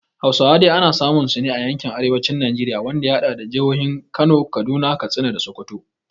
Hausawa dai ana samun su ne a yankin arewacin Najeriya, wanda ya hada da jihohin Kano, Kaduna, Katsina, da Sokoto.